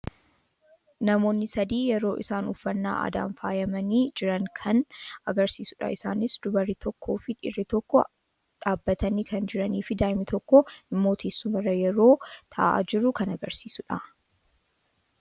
Namoonni sadii yeroo isaan uffannaa aadaan faayamanii jiran kan agarsiisuudha. Isaaniis dubarri tokkoo fi dhiirri tokko dhaabatanii kan jiranii fi daa'imni tokko immoo teessuma irra yeroo taa'a jirtu kan agarsiisudha.